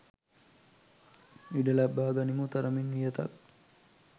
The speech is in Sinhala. ඉඩ ලබා ගනිමු තරමින් වියතක්.